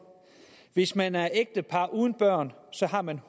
hvis man er et ægtepar uden børn så har man